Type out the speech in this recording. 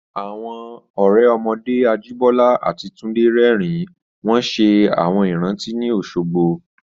Àwọn ọ̀rẹ́ ọmọdé Ajíbọ́lá àti Túndé rẹ́rìn-ín wọ́n ṣe àwọn ìrántí ní Òṣogbo